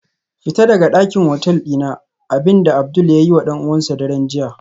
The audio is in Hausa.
Fita daga dakin hotel dina, abinda Abdul ya yiwa dan uwansa a daren jiya